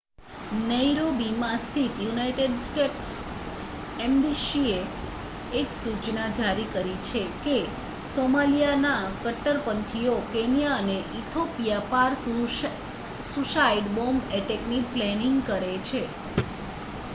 "નૈરોબીમાં સ્થિત United States એમ્બસીએ એક સૂચના જારી કરી છે કે "સોમાલિયા ના કટ્ટરપંથીઓ" કેન્યા અને ઇથોપિયા પાર સુઈસાઈડ બૉમ્બ અટેકની પ્લેનિંગ કરે છે.